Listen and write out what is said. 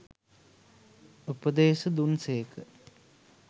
උපදේශ දුන් සේක.